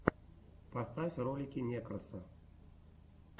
поставь ролики некроса